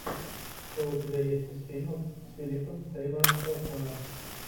что у тебя есть из фильмов с филипом сеймуром хоффманом